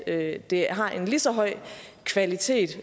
at det har en lige så høj kvalitet